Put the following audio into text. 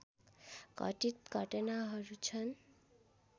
घटित घटनाहरू छन्